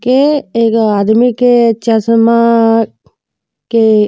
के एगो आदमी के चसमा के --